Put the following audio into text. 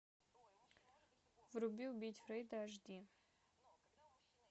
вруби убить фрейда аш ди